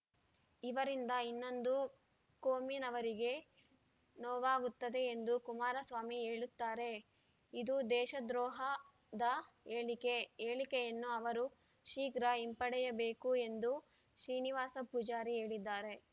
ಇದರಿಂದ ಇನ್ನೊಂದು ಕೋಮಿನವರಿಗೆ ನೋವಾಗುತ್ತದೆ ಎಂದು ಕುಮಾರಸ್ವಾಮಿ ಹೇಳುತ್ತಾರೆ ಇದು ದೇಶದ್ರೋಹದ ಹೇಳಿಕೆ ಹೇಳಿಕೆಯನ್ನು ಅವರು ಶೀಘ್ರ ಹಿಂಪಡೆಯಬೇಕು ಎಂದು ಶ್ರೀನಿವಾಸ ಪೂಜಾರಿ ಹೇಳಿದ್ದಾರೆ